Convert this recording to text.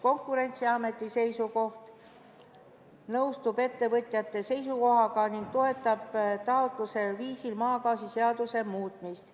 Konkurentsiamet nõustub ettevõtjate seisukohaga ning toetab taotletud viisil maagaasiseaduse muutmist.